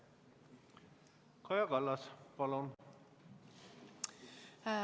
Kaja Kallas, palun!